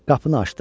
Qapını açdım.